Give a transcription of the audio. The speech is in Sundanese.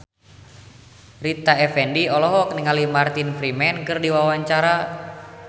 Rita Effendy olohok ningali Martin Freeman keur diwawancara